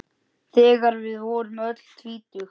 Þegar við vorum öll tvítug.